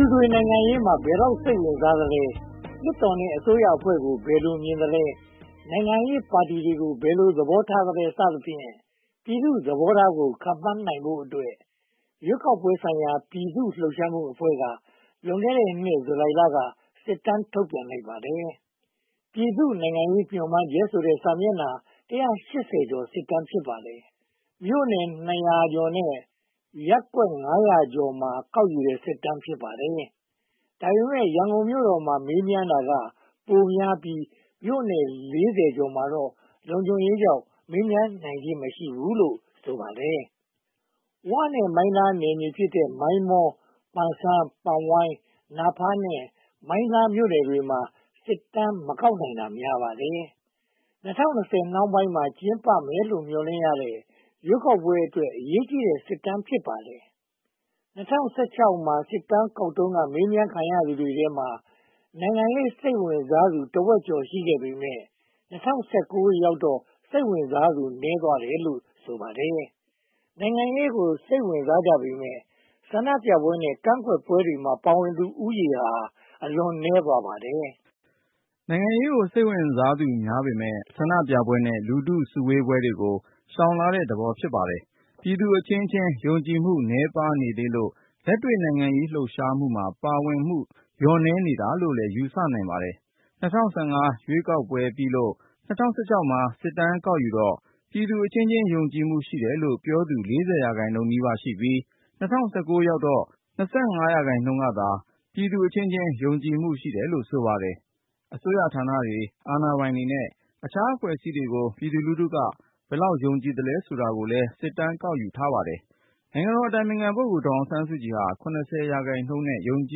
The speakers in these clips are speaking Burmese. ူတွေ နိုင်ငံရေးမှာ ဘယ်လောက်စိတ်ဝင်စားသလဲ။ လွှတ်တော်နဲ့ အစိုးရအဖွဲ့ကို ဘယ်လိုမြင်သလဲ။ နိုင်ငံရေးပါတီတွေကို ဘယ်လိုသဘောထားသလဲ စသဖြင့် ပြည်သူ့သဘောထားကို ခန့်မှန်းနိုင်ဖို့အတွက် ရွေးကောက်ပွဲဆိုင်ရာ ပြည်သူ့လှုပ်ရှားမှုအဖွဲ့က လွန်ခဲ့တဲ့ ဇူလိုင်လက စစ်တမ်းထုတ်ပြန်လိုက်ပါတယ်။ ‘ပြည်သူ့နိုင်ငံရေးမျှော်မှန်းချက်’ ဆိုတဲ့ စာမျက်နှာ (၁၈၀) ကျော် စစ်တမ်း ဖြစ်ပါတယ်။ မြို့နယ် (၂၃၃) ခုနဲ့ ရပ်ကွက်ကျေးရွာ (၅၁၁) ခု ကောက်ယူတဲ့စစ်တမ်း ဖြစ်ပါတယ်။ ဒါပေမဲ့ ရန်ကုန်မြို့တော်မှာ မေးမြန်းတာကပိုပြီး မြို့နယ် (၄၀) ကျော်မှာတော့ လုံခြုံရေးကြောင့် မေးမြန်းနိုင်ခြင်း မရှိဘူးလို့ ဆိုပါတယ်။ ဝနဲ့မိုင်းလားနယ်မြေဖြစ်တဲ့ မိုင်းမော၊ ပန်ဆန်း (ပန်ခမ်း)၊ ပန်ဝိုင်၊ နာဖန်းနဲ့ မိုင်းလားမြို့နယ်တွေမှာ စစ်တမ်းမကောက်နိုင်တာများပါတယ်။ ၂၀၂၀ နောက်ပိုင်းမှာ ကျင်းပမယ်လို့ မျှော်လင့်ရတဲ့ ရွေးကောက်ပွဲအတွက် အရေးကြီးတဲ့စစ်တမ်း ဖြစ်ပါတယ်။ ၂၀၁၆ မှာ စစ်တမ်းကောက်တုန်းက မေးမြန်းခံရသူတွေထဲမှာ နိုင်ငံရေးစိတ်ဝင်စားသူ တဝက်ကျော် (၆၀) ရာခိုင်နှုန်း ရှိခဲ့ပေမယ့် ၂၀၁၉ ရောက်တော့ စိတ်ဝင်စားသူ နည်းသွားတာတယ် (၃၀) ရာခိုင်နှုန်းလို့ ဆိုပါတယ်။ နိုင်ငံရေးကို စိတ်ဝင်စားကြပေမယ့် ဆန္ဒပြပွဲနဲ့ ကန့်ကွက်ပွဲတွေမှာ ပါဝင်ဖူးသူဦးရေဟာ (၆) ရာခိုင်နှုန်း အလွန်နည်းပါတယ်။ နိုင်ငံရေးကို စိတ်ဝင်စားသူများပေမယ့် ဆန္ဒပြပွဲနဲ့ လူထုစုဝေးပွဲတွေကို ရှောင်လာတဲ့သဘော ဖြစ်ပါတယ်။ ပြည်သူအချင်းချင်း ယုံကြည်မှုနည်းပါးနေသေးလို့ လက်တွေ့နိုင်ငံရေး လှုပ်ရှားမှုမှာ ပါဝင်မှုလျှော့နည်းနေတာလို့လည်း ယူဆနိုင်ပါတယ်။ ၂၀၁၅ ရွေးကောက်ပွဲပြီးလို့ ၂၀၁၆ မှာ စစ်တမ်းကောက်ယူတော့ ပြည်သူအချင်းချင်း ယုံကြည်မှုရှိတယ်လို့ ပြောသူ (၄၀) ရာခိုင်နှုန်းနီးပါးရှိပြီး ၂၀၁၉ ရောက်တော့ (၂၅) ရာခိုင်နှုန်းသာ ပြည်သူအချင်းချင်း ယုံကြည်မှုရှိတယ်လို့ ဆိုပါတယ်။ အစိုးရဌာနတွေ၊ အာဏာပိုင်တွေနဲ့ အခြားအဖွဲ့အစည်းတွေကို ပြည်သူလူထုက ဘယ်လောက်ယုံကြည်သလဲဆိုတာကိုလည်း စစ်တမ်းယူထားပါတယ်။ နိုင်ငံတော်အတိုင်ပင်ခံ ဒေါ်စုဟာ (၇၀) ရာခိုင်နှုန်းနဲ့ ယုံကြ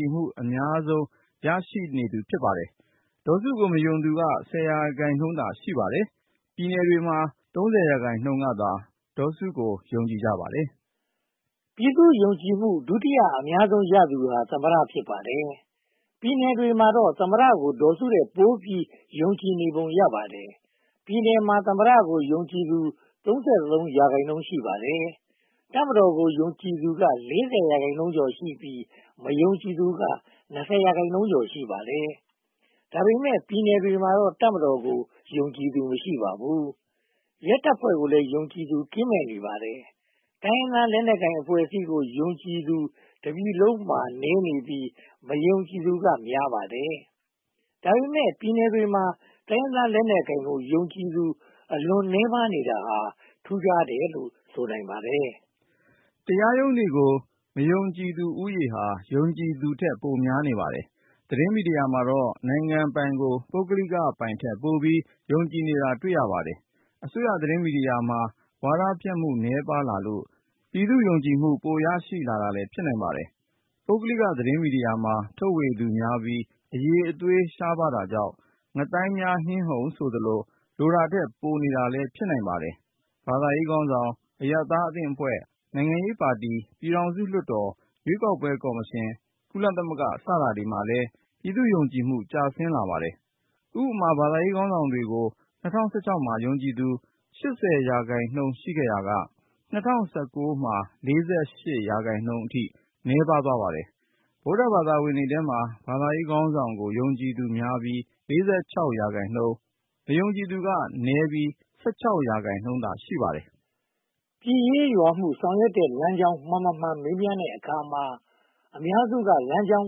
ည်မှုအရဆုံး ဖြစ်နေပါတယ်။ ဒေါ်စုကို မယုံသူက (၁၀) ရာခိုင်နှုန်းသာ ရှိပါတယ်။ ပြည်နယ်မှာ (၃၀) ရာခိုင်နှုန်းကသာ ဒေါ်စုကို ယုံကြည်ကြပါတယ်။ ပြည်သူယုံကြည်မှု ဒုတိယအများဆုံးရသူဟာ သမ္မတ ဖြစ်ပါတယ်။ ပြည်နယ်တွေမှာတော့ သမ္မတကို ဒေါ်စုထက်ပိုပြီး ယုံကြည်နေပုံ ရပါတယ်။ ပြည်နယ်မှာ သမ္မတကို ယုံကြည်သူ (၃၃) ရာခိုင်နှုန်း ရှိပါတယ်။ တပ်မတော်ကို ယုံကြည်သူက (၄၀) ရာခိုင်နှုန်းကျော်ပြီး၊ မယုံကြည်သူက (၂၀) ရာခိုင်နှုန်းကျော် ရှိပါတယ်။ ဒါပေမဲ့ ပြည်နယ်တွေမှာတော့ တပ်မတော်ကို ယုံကြည်သူ မရှိပါဘူး။ ရဲတပ်ဖွဲ့ကိုလည်း ယုံကြည်သူကင်းမဲ့နေပါတယ်။ တိုင်းရင်းသား လက်နက်ကိုင်အဖွဲ့အစည်းကို ယုံကြည်သူ တပြည်လုံးမှာနည်းနေပြီး (၂၀)% မယုံကြည်သူကများ (၃၅)% ပါတယ်။ ဒါပေမဲ့ ပြည်နယ်တွေမှာ တိုင်းရင်းသားလက်နက်ကိုင်ကို ယုံကြည်သူ အလွန်နည်းပါး (၃)% နေတာဟာ ထူးခြားတယ်လို့ ဆိုနိုင်ပါတယ်။ တရားရုံးတွေကို မယုံကြည်သူဦးရေဟာ ယုံကြည်သူထက် ပိုများနေပါတယ်။ သတင်းမီဒိယာမှာတော့ နိုင်ငံပိုင်ကို ပုဂ္ဂလိကပိုင်ထက်ပိုပြီး ယုံကြည်နေတာ တွေ့ရပါတယ်။ အစိုးရသတင်းမီဒီယာမှာ ဝါဒဖြန့်မှုနည်းပါးလာလို့ ပြည်သူ့ယုံကြည်မှု ပိုမိုရရှိတာလည်း ဖြစ်နိုင်ပါတယ်။ ပုဂ္ဂလိကသတင်းမီဒီယာမှာ ထုတ်ဝေသူတွေများပြီး အရည်အသွေး ရှားပါးတာကြောင့် ‘ငါးသိုင်းများဟင်းဟုံ’ ဆိုသလို လိုတာထက် ပိုနေတာလည်း ဖြစ်နိုင်ပါတယ်။ ဘာသာရေးခေါင်းဆောင်၊ အရပ်သားအသင်းအဖွဲ့၊ နိုင်ငံရေးပါတီ၊ ပြည်ထောင်စုလွှတ်တော်၊ ရွေးကောက်ပွဲကော်မရှင်၊ ကုလသမဂ္ဂ စတာတွေမှာလည်း ပြည်သူ့ယုံကြည်မှု ကျဆင်းလာပါတယ်။ ဥပမာ ဘာသာရေးခေါင်းဆောင်တွေကို ၂၀၁၆ မှာ ယုံကြည်သူ (၈၀) ရာခိုင်နှုန်းရှိရာကနေ ၂၀၁၉ မှာ (၄၈) ရာခိုင်နှုန်း နည်းပါးသွားပါတယ်။ ဗုဒ္ဓဘာသာဝင်တွေထဲမှာ ဘာသာရေးခေါင်းဆောင်ကို ယုံကြည်သူများပြီး (၄၆) ရာခိုင်နှုန်း၊ မယုံကြည်သူက (၁၆) ရာခိုင်နှုန်း ရှိပါတယ်။ ပြည်ရေးရွာရေး ဆောင်ရွက်တဲ့လမ်းကြောင်း မှန်မမှန် မေးမြန်းတဲ့အခါမှာ အများစုက (၃၇) ရာခိုင်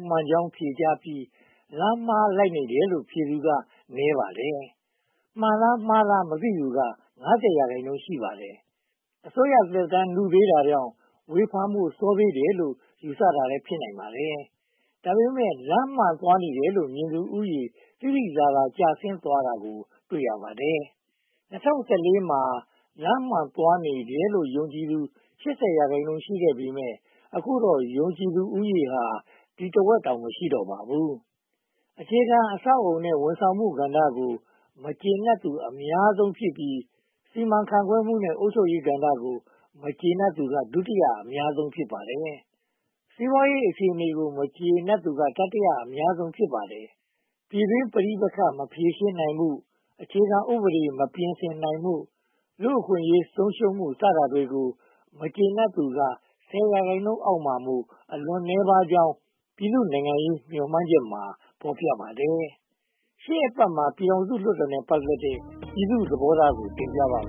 နှုန်း လမ်းမှန်ဖြစ်ကြောင်း ဖြေကြားပြီး၊ လမ်းမှားလိုက်နေတယ်လို့ ဖြေသူက (၈) ရာခိုင်နှုန်း ရှိပါတယ်။ မှန်လားမှားလား မသိသူက (၅၀) ရာခိုင်နှုန်း ရှိပါတယ်။ အစိုးရသက်တမ်း နုသေးတာကြောင့် ဝေဖန်ဖို့ စောသေးတယ်လို့ ယူဆတာလည်း ဖြစ်နိုင်ပါတယ်။ ဒါပေမဲ့ လမ်းမှန်သွားနေတယ်လို့ မြင်သူဦးရေ သိသိသာသာ ကျဆင်းသွားတာ တွေ့ရပါတယ်။ ၂၀၁၄ မှာ လမ်းမှန်သွားနေတယ်လို့ ယုံကြည်သူ (၈၀) ရာခိုင်နှုန်း ရှိခဲ့ပေမယ့် အခုတော့ ယုံကြည်သူဦးရေ အဲဒီတဝက် (၄၀) ရာခိုင်နှုန်းတောင် မရှိတော့ပါဘူး။ အခြေခံအဆောက်အအုံနဲ့ ဝန်ဆောင်မှုကဏ္ဍတို့ကို မကျေနပ်သူ အများဆုံး (၄၀) ရာခိုင်နှုန်းဖြစ်ပြီး စီမံခန့်ခွဲမှုနဲ့ အုပ်ချုပ်ရေးကဏ္ဍကို မကျေနပ်သူက ဒုတိယအများဆုံး (၃၀) ရာခိုင်နှုန်း ဖြစ်ပါတယ်။ စီးပွားရေးအခြေအနေကို မကျေနပ်သူက တတိယအများဆုံး (၁၇) ရာခိုင်နှုန်း ဖြစ်ပါတယ်။ ပြည်တွင်းပဋိပက္ခ မဖြေရှင်းနိုင်မှု၊ အခြေခံဥပဒေ မပြင်ဆင်နိုင်မှု၊ လူ့အခွင့်အရေးဆုံးရှုံးမှု စတာတွေကို မကျေနပ်သူက ဆယ်ရာခိုင်နှုန်းအောက်မှာမို့ အလွန်နည်းပါးကြောင်း ‘ပြည်သူ့နိုင်ငံရေးမျှော်မှန်းချက်’ မှာ ဖော်ပြပါတယ်။ ရှေ အပတ်မှာ ပြည်ထောင်စုလွှတ်တော်နဲ့ ပတ်သက်တဲ့ ပြည်သူ့သဘောထားကို တင်ပြထားပါတ